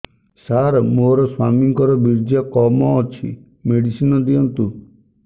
ସାର ମୋର ସ୍ୱାମୀଙ୍କର ବୀର୍ଯ୍ୟ କମ ଅଛି ମେଡିସିନ ଦିଅନ୍ତୁ